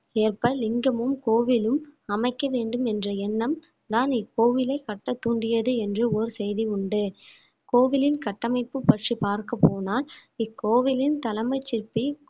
ஏற்ப லிங்கமும் கோவிலும் அமைக்க வேண்டும் என்ற எண்ணம் தான் இக்கோவிலை கட்ட தூண்டியது என்று ஓர் செய்தி உண்டு கோவிலின் கட்டமைப்பு பற்றி பார்க்கப்போனால் இக்கோவிலின் தலைமை சிற்பி